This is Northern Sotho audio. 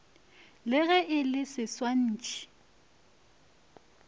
le ge le le setswetši